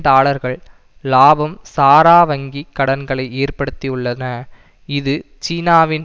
டாலர்கள் லாபம் சாரா வங்கி கடன்களை ஏற்படுத்தியுள்ளன இது சீனாவின்